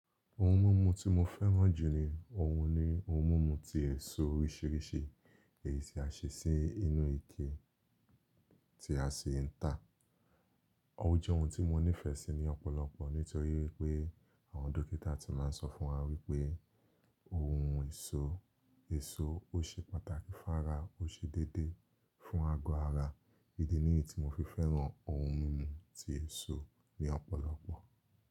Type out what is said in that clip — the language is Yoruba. Ohun mumu tí mo fẹ́ràn jù ní òhun ni ohun mumu tí èso oríṣiríṣi èyí tí a ṣe sínú ike tí a sì ń tà. Ó jẹ́ ohun tí mo nífẹ̀ẹ́ sí ní ọ̀pọ̀lọpọ̀ nítorí wípé àwọn dókítà tí máa ń sọ fún wa wípé ohun èso, èso ó ṣe pàtàkì fún ara, ó ṣe déédéé fún agọ ara. Ídí nìyí tí mo fi fẹ́ràn ohun mímu tí èso ní ọ̀pọ̀lọpọ̀.